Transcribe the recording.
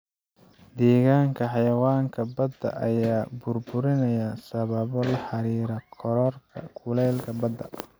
Deegaanka xayawaanka badda ayaa burburinaya sababo la xiriira kororka kuleylka badda.